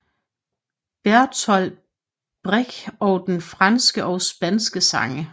Bertolt Brecht og franske og spanske sange